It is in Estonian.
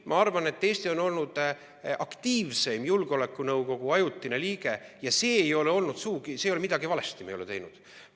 Ei, ma arvan, et Eesti on esimese aasta jooksul olnud aktiivseim julgeolekunõukogu ajutine liige ja me ei ole midagi valesti teinud.